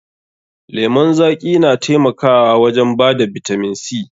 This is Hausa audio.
Lemon zaƙi na taimakawa wajen bada bitamin C.